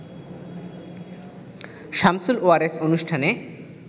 সামসুল ওয়ারেস অনুষ্ঠানে